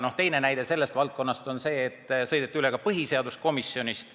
Ja teine näide sellest valdkonnast on see, et sõideti üle põhiseaduskomisjonist.